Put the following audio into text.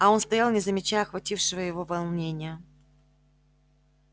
а он стоял не замечая охватившего его волнения